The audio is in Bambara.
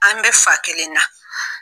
An bɛ fa kelen na